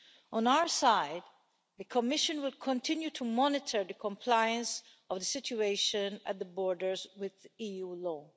On our side, the Commission will continue to monitor the compliance of the situation at the borders with EU law.